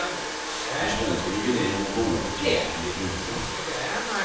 För svensken i gemen är bolaget känt för sina krukor.